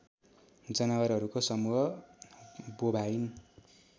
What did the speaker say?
जनावरहरूको समुह बोभाइन